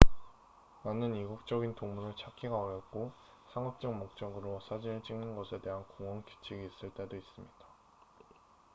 많은 이국적인 동물을 찾기가 어렵고 상업적 목적으로 사진을 찍는 것에 대한 공원 규칙이 있을 때도 있습니다